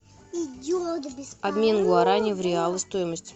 обмен гуарани в реалы стоимость